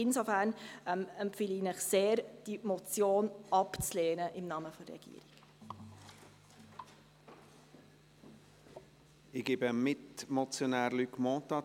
Insofern empfehle ich Ihnen im Namen der Regierung sehr, diese Motion abzulehnen.